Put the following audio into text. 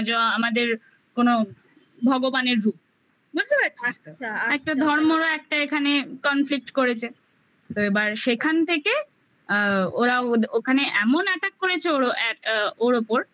আমাদের কোনো ভগবানের রূপ বুঝতে পেরেছিস আচ্ছা আচ্ছা ধর্মরও একটা এখানে conflict করেছে তো এবার সেখান থেকে আ ওরা ওদের ওখানে এমন attact করেছে ওরও অ্যা ওর ওপর